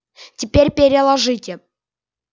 теперь переложите